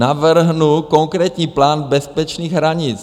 Navrhnu konkrétní plán bezpečných hranic.